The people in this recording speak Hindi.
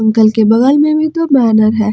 दुकान के बगल में भी तो बैनर हैं।